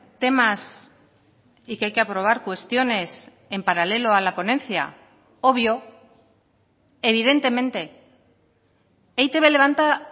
temas y que hay que aprobar cuestiones en paralelo a la ponencia obvio evidentemente e i te be levanta